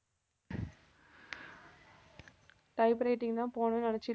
type writing தான் போகணும்னு நினைச்சுட்டு